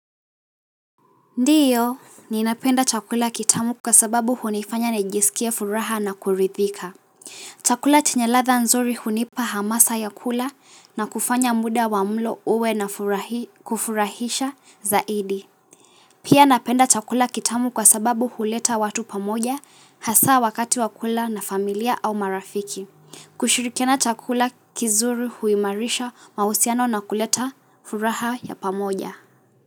Ndiyo, ninapenda chakula kitamu kwa sababu hunifanya najisikia furaha na kuridhika. Chakula chenye ladha nzuri hunipa hamasa ya kula na kufanya muda wa mlo uwe na kufurahisha zaidi. Pia napenda chakula kitamu kwa sababu huleta watu pamoja, hasa wakati wakula na familia au marafiki. Kushirikiana chakula kizuri huimarisha, mausiano na kuleta furaha ya pamoja.